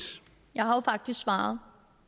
jeg har jo faktisk svaret